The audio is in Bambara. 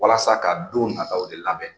Walasa ka don nataa de labɛn.